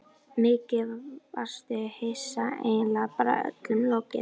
Mikið varstu hissa, eiginlega bara öllum lokið.